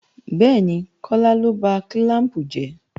Bẹ́ẹ̀ni, Kọ́lá ló ba kílàmpù jẹ́